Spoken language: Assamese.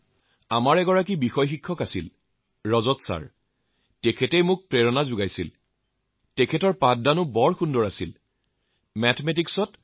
হয় মহোদয় মায়ে মোক বহুত কথা শিকায়